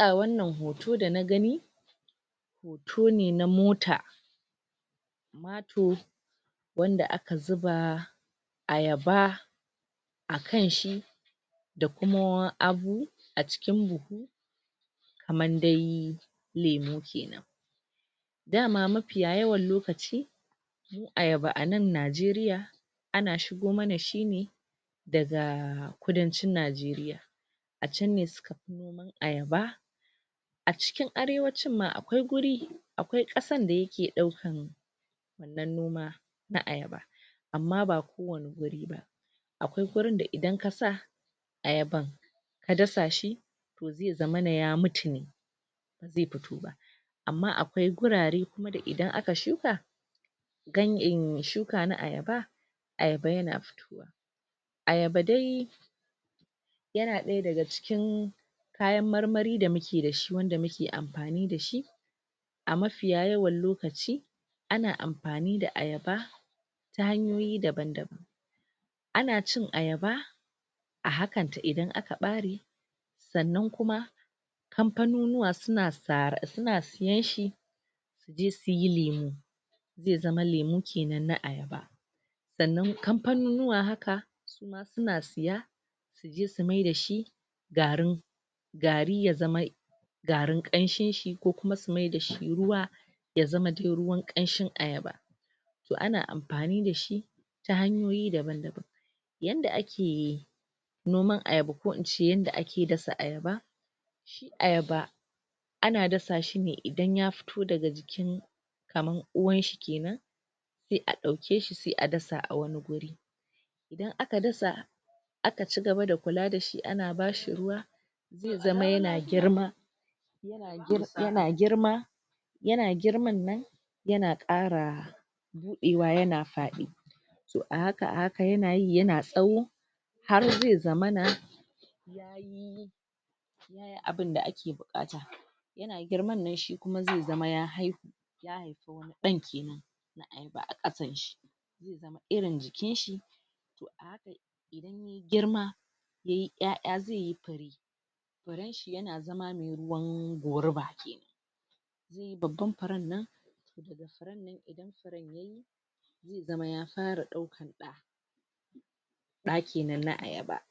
A wannan hoto da na gani hoto ne na mota mato wanda aka zuba a yaba akan shi da kuma abu a cikin buhu kaman dai lemu kenan daman mafiyayan lokaci ayaba a nan Najeriya ana shigo mana shi ne da ga kudancin Najeriya a chan ne suka fi noman ayaba a cikin arewacin ma akwai guri akwai kasan da yake daukan na noma na ayaba amma ba kowane gari akwai gurin da idan kasa ayaban ka dasa shi zai zama ya mutu ne bai fito ba amma akwai gurare haka idan aka shuka shuka na ayaba ayaba yana fito ayaba dai yana daya daga cikin kayan marmari da muke da shi da muke amfani da shi a mafiyayewan lokaci ana amfani da ayaba ta hanyoyi daban daban ana cin ayaba a hakan ta idan aka bare tsannan kuma kamfanonuwa suna tsayen shi zu je suyi lemu zai zama lemu kenan na ayaba tsannan kamfanonuwa haka suna siya sai su myar da shi tsrau gari ya zama garin kamshin shi ko kuma su myar da shi ruwa ya dai zama ruwan kamshin ayaba toh ana amfani da shi ta hanyoyi daban daban yanda ake noman ayaba ko ince ake dasa ayaba ayaba ana dasa shi ne idan ya fito daga jikin kaman uwan shi kenan sai a dauke shi sai a dasa a wani guri idan aka das aka cigaba da kula da shi, ana ba shi ruwa zai zama yana girma yana girma yana girman nan yana kara diwa yana fadi toh a haka yana yi yana tsawo har zai zama na abun da ake bukata girman ne shi kuma zai zama ya haihu dan kenan a kasan shi irin jikin shi girma yayi aiai zai yi fari a zaman mai ruwan goruba babban faran nan zama ya fara daukan da da kenan na ayaba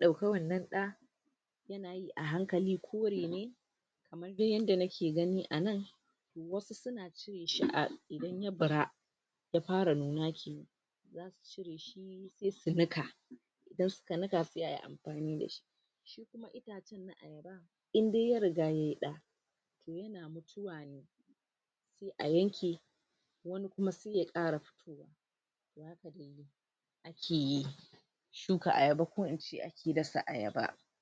dauka wannan da a hankali ko mene duk inda nake gani anan wasu suna ce? idan ya bara fara nuna kenan sai su nika dan in suka nika sai a yi amfani da shi idan ya riga yayi da a yanki kuma suke kara fitowa ke yi duka ayaba ko ince